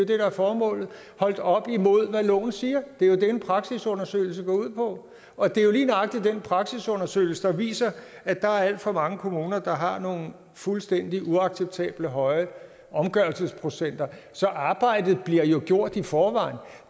det der er formålet holdt op imod hvad loven siger det er det en praksisundersøgelse går ud på og det er lige nøjagtig den praksisundersøgelse der viser at der er alt for mange kommuner der har nogle fuldstændig uacceptabelt høje omgørelsesprocenter så arbejdet bliver jo gjort i forvejen